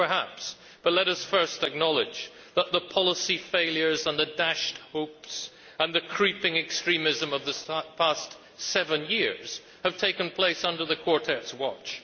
Well, perhaps, but let us first acknowledge that the policy failures, the dashed hopes and the creeping extremism of the past seven years have taken place under the Quartet's watch.